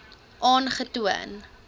aangetoon